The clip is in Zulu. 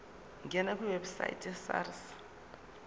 ngena kwiwebsite yesars